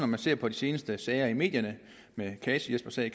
man ser på de seneste sager i medierne en kasi jesper sag